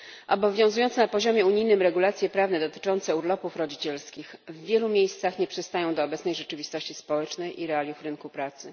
Obowiązujące na poziomie unijnym regulacje prawne dotyczące urlopów rodzicielskich w wielu miejscach nie przystają do obecnej rzeczywistości społecznej i realiów rynku pracy.